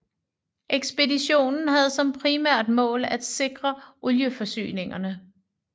Ekspeditionen havde som primært mål at sikre olieforsyningerne